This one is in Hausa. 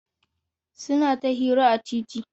Suna ta hira a titi.